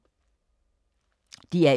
DR1